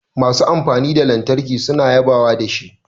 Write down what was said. Masu amfani da lantarki suna yaba da shi